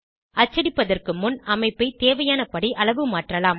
அச்சடிப்பதற்கு முன் அமைப்பை தேவையானபடி அளவுமாற்றலாம்